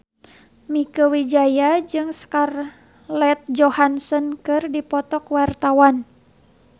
Mieke Wijaya jeung Scarlett Johansson keur dipoto ku wartawan